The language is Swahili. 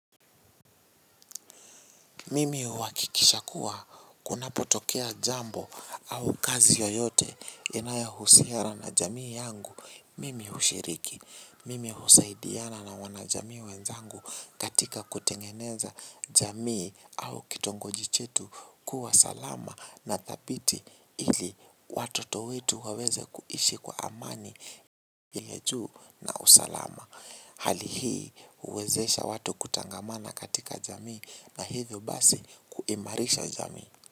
Mimi huhakikisha kuwa kunapotokea jambo au kazi yoyote inayohusiana na jamii yangu. Mimi hushiriki. Mimi husaidiana na wanajamii wenzangu katika kutengeneza jamii au kitongoji chetu kuwa salama na dhabiti ili watoto wetu waweze kuishi kwa amani. Ya juu na usalama. Hali hii huwezesha watu kutangamana katika jamii. Na hivyo basi kuimarisha jamii.